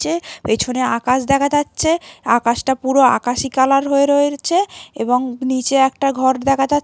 পেছনে আকাশ দেখা যাচ্ছে আকাশটা পুরো আকাশী কালার হয়ে রয়েছে এবং নিচে একটা ঘর দেখা যাচ্ছ--